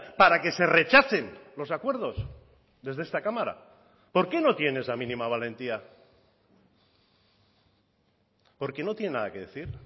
para que se rechacen los acuerdos desde esta cámara por qué no tiene esa mínima valentía porque no tienen nada que decir